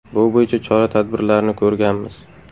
Bu bo‘yicha chora tadbirlarni ko‘ramiz.